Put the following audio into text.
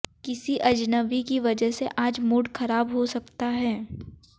किसी अजनबी की वजह से आज मूड खराब हो सकता है